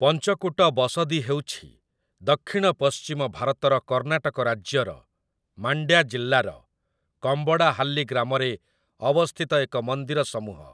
ପଞ୍ଚକୁଟ ବସଦୀ ହେଉଛି 'ଦକ୍ଷିଣ ପଶ୍ଚିମ' ଭାରତର କର୍ଣ୍ଣାଟକ ରାଜ୍ୟର ମାଣ୍ଡ୍ୟା ଜିଲ୍ଲାର କମ୍ବଡାହାଲ୍ଲି ଗ୍ରାମରେ ଅବସ୍ଥିତ ଏକ ମନ୍ଦିର ସମୂହ ।